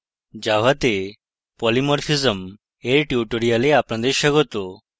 java তে polymorphism এর tutorial আপনাদের স্বাগত